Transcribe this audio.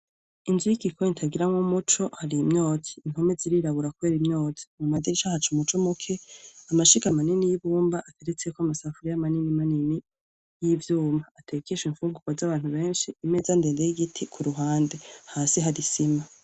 Inzu yigikoni itagiramwo umuco hari imyotsi impome zirirabura kubera imyotsi mumadirisha haca umuco muke amashiga manini yibumba ateretseko amasafuriya manini manini yivyuma atekeshwa imfungurwa zabantu benshi imeza ndende yigiti kuruhande hasi hari isima